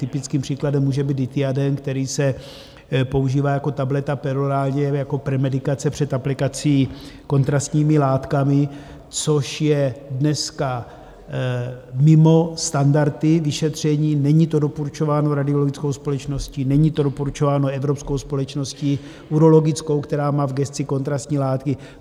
Typickým příkladem může být Dithiaden, který se používá jako tableta perorálně jako premedikace před aplikací kontrastními látkami, což je dneska mimo standardy vyšetření, není to doporučováno radiologickou společností, není to doporučováno evropskou společností urologickou, která má v gesci kontrastní látky.